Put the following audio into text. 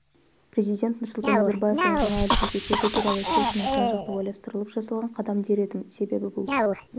президент нұрсұлтан назарбаевтың жаңа әліпбиге көшу туралы шешімін жан-жақты ойластырылып жасалған қадам дер едім себебі бұл